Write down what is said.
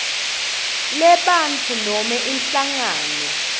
lebantfu noma inhlangano